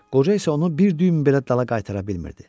Qoca isə onu bir düym belə dala qaytara bilmirdi.